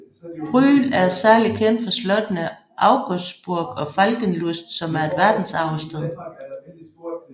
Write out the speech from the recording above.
Brühl er særlig kendt for slottene Augustsburg og Falkenlust som er et verdensarvssted